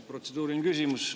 Protseduuriline küsimus.